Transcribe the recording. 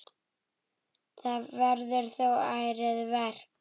Það verður þó ærið verk.